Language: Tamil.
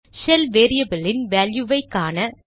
ஷெல் வேரியபிளின் வேல்யுவை காண